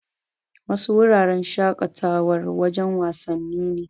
Wasu wuraren shaƙatawar, wajen wasanni ne.